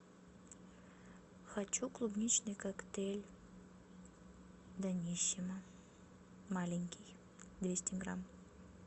хочу клубничный коктейль даниссимо маленький двести грамм